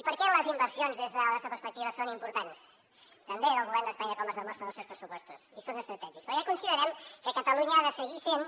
i per què les inversions des de la nostra perspectiva són importants també del govern d’espanya com es demostra en els seus pressupostos i són estratègiques perquè considerem que catalunya ha de seguir sent